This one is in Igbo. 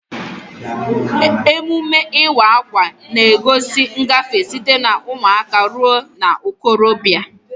Emume Ịwa akwa na-egosi ngafe site na ụmụaka ruo na okorobia.